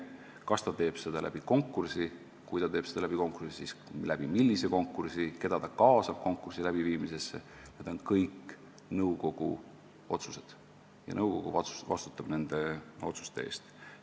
Kas ta teeb seda konkursi kaudu ja kui, siis millise konkursi kaudu, keda ta kaasab konkursi läbiviimisesse – need on kõik nõukogu otsused ja nõukogu vastutab nende otsuste eest.